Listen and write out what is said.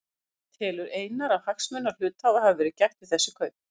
En telur Einar að hagsmuna hluthafa hafi verið gætt við þessi kaup?